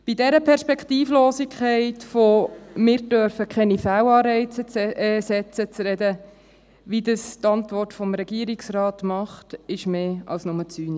Bei dieser Perspektivlosigkeit von «wir dürfen keine Fehlanreize setzen» zu sprechen, wie in der Antwort des Regierungsrates, ist mehr als nur zynisch.